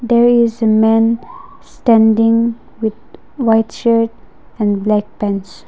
there is a man standing with white shirt and black pants.